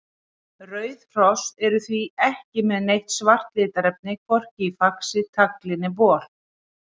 Rauð hross eru því ekki með neitt svart litarefni, hvorki í faxi, tagli né bol.